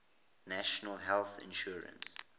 national health insurance